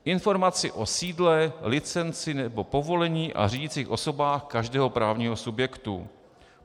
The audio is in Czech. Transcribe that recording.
Informaci o sídle, licenci nebo povolení a řídicích osobách každého právního subjektu.